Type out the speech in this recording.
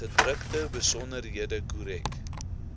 gedrukte besonderhede korrek